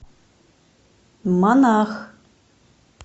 монах